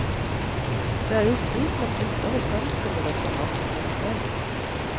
Det er jo slik man å ynder å fremstille det for norsk ungdom.